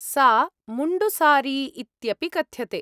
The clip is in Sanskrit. सा मुण्डु सारी इत्यपि कथ्यते।